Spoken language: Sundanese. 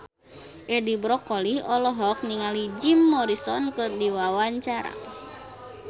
Edi Brokoli olohok ningali Jim Morrison keur diwawancara